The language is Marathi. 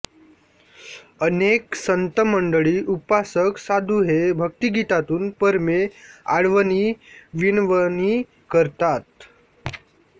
अनेक संतमंडळी उपासक साधू हे भक्तिगीतातून परमे आळवणीविनवणी करतात